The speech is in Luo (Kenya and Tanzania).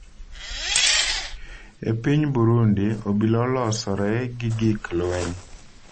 E piny Burundi, obila olosore gi gik lweny.